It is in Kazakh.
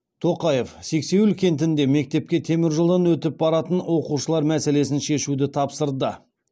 тоқаев сексеуіл кентінде мектепке теміржолдан өтіп баратын оқушылар мәселесін шешуді тапсырды